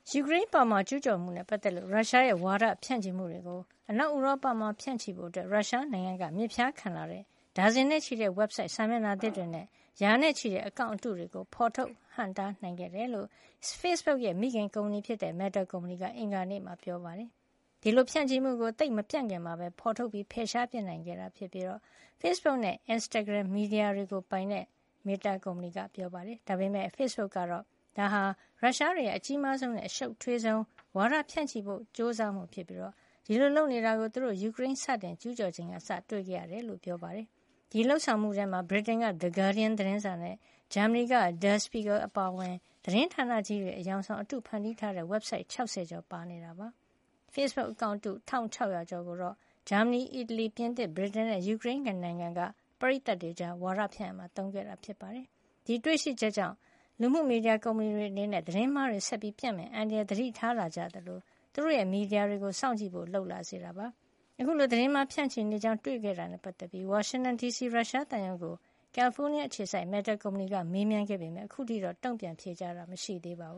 ယူကရိန်းအပေါ် ကျုးကျော်မှုနဲ့ ပတ်သက်လို့ ရုရှားရဲ့ ဝါဒဖြန့်ချီမှုတွေကို အနောက်ဥရောပမှာ ဖြန့်ချီဖို့ ရုရှားနိုင်ငံက မြစ်ဖျားခံလာတဲ့ ဒါဇင်နဲ့ချီတဲ့ ဝက်ဘ်ဆိုဒ် စာမျက်နှာသစ်တွေနဲ့ ရာနဲ့ချီတဲ့ အကောင့်အတုတွေကို ဖော်ထုတ်ဟန့်တား နိုင်ခဲ့ကြောင်း Facebook ရဲ့ မိခင်ကုမ္ပဏီဖြစ်တဲ့ Meta ကုမ္ပဏီက အင်္ဂါနေ့မှာ ပြောလိုက်ပါတယ်။ ဒီလိုဖြန့်ချီမှုကို သိပ်မပြန့်ခင်မှာပဲ ဖေါ်ထုတ်ပြီး ဖယ်ရှားပစ်နိုင်ခဲ့တယ်လို့ ဖေ့စ်ဘုတ်နဲ့ အင်စတာဂရမ် မီဒီယာတွေကို ပိုင်တဲ့ Meta ကုမ္ပဏီက ပြောပါတယ်။ ဒါပေမယ့် ဖေ့စ်ဘုတ်ကတော့ ဒါဟာ ရုရှားတွေရဲ့ အကြီးမားဆုံးနဲ့ အရှုပ်ထွေးဆုံး ဝါဒဖြန့်ချီဖို့ ကြိုးစားမှုဖြစ်ပြီး ဒီလိုလုပ်နေတာကို သူတို့ ယူကရိန်းကို စတင်ကျူးကျော်ချိန်ကစပြီး တွေ့ခဲ့ရတယ်လို့ ပြောပါတယ်။ ဒီလုပ်ဆောင်မှုထဲမှာ ဗြိတိန်က The Gurdian သတင်းစာနဲ့ ဂျာမဏီက Der Spiegel အပါအဝင် သတင်းဌာနကြီးတွေ အယောင်ဆောင် အတုဖန်တီးထားတဲ့ ဝက်ဘ်ဆိုက် ၆၀ ကျော်ပါနေတာ ဖြစ်ပါတယ်။ ဖေ့စ်ဘုတ် အကောင့်တု ၁၆၀၀ ကျော်ကိုတော့ ဂျာမဏီ၊ အီတလီ၊ ပြင်သစ်၊ ဗြိတိန်နဲ့ ယူကရိန်း နိုင်ငံက ပရိတ်သတ်တွေကြား ဝါဒဖြန့်ရာမှာ သုံးခဲ့တာပါ။ အခုတွေ့ရှိချက်ကြောင့် လူမှုမီဒီယာ ကုမ္ပဏီတွေ အနေနဲ့ သတင်းမှားတွေ ဆက်ပြီး ပျံ့နှံ့မယ့် အန္တရာယ်ကို သတိထားလာကြသလို သူတို့ရဲ့ မီဒီယာတွေကို စောင့်ကြည့်ဖို့ လုပ်လာစေတာပါ။ အခုလို သတင်းမှားဖြန့်ချီနေ ကြောင်း တွေ့ရှိခဲ့တာနဲ့ ပတ်သက်ပြီး ဝါရှင်တန်ဒီစီ က ရုရှားသံရုံးကို ကယ်လီဖိုးနီးရှားအခြေစိုက် Meta ကုမ္ပဏီက မေးမြန်းခဲ့ပေမယ့် ခုချိန်ထိတော့ တုံ့ပြန်ဖြေကြားတာ မရှိသေးပါဘ